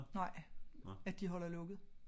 Nej at de holder lukket